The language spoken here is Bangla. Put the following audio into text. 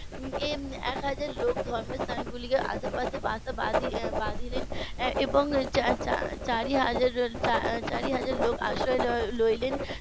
এই একহাজার লোক ধর্ম স্থান গুলিকে আশে পাশে বাসা বাঁধলেন এবং চারি . চারি হাজার লোক আশ্রয় নিলেন